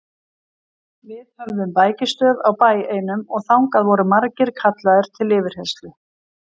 Við höfðum bækistöð á bæ einum og þangað voru margir kallaðir til yfirheyrslu.